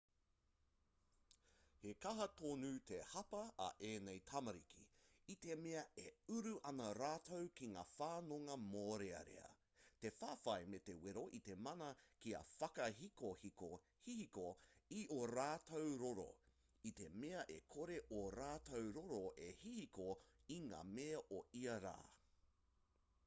he kaha tonu te hapa a ēnei tamariki i te mea e uru ana rātou ki ngā whanonga mōrearea te whawhai me te wero i te mana kia whakahihiko i ō rātou roro i te mea e kore ō rātou roro e hihiko i ngā mea o ia rā